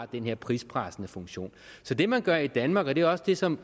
den her prispressende funktion det man gør i danmark og det er også det som